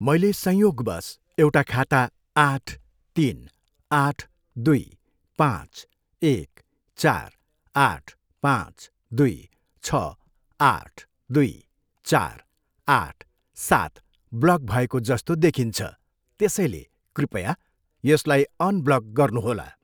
मैले संयोगवश एउटा खाता आठ, तिन, आठ, दुई, पाँच, एक, चार, आठ, पाँच, दुई, छ, आठ, दुई, चार, आठ, सात ब्लक भएको जस्तो देखिन्छ, त्यसैले कृपया यसलाई अनब्लक गर्नुहोला।